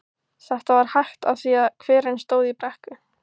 Þetta var hægt af því að hverinn stóð í brekku.